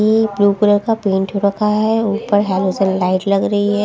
ये blue colour का paint हो रखा है ऊपर हेलोजन लाइट लग रही हे।